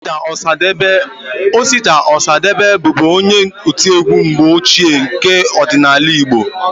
Osita Ọsadebe bụbu onye otiegwu mgbe ochie nke ọdịnala igbo